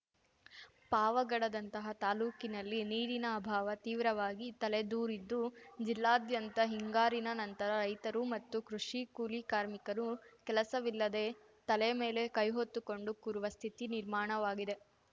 ಪಾವಗಡದಂತಹ ತಾಲೂಕಿನಲ್ಲಿ ನೀರಿನ ಅಭಾವ ತೀವ್ರವಾಗಿ ತಲೆದೂರಿದ್ದು ಜಿಲ್ಲಾದ್ಯಂತ ಹಿಂಗಾರಿನ ನಂತರ ರೈತರು ಮತ್ತು ಕೃಷಿ ಕೂಲಿ ಕಾರ್ಮಿಕರು ಕೆಲಸವಿಲ್ಲದೆ ತಲೆ ಮೇಲೆ ಕೈಹೊತ್ತುಕೊಂಡು ಕೂರುವ ಸ್ಥಿತಿ ನಿರ್ಮಾಣವಾಗಿದೆ